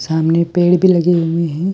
सामने पेड़ भी लगे हुए है।